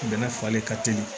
Bɛnɛ falen ka teli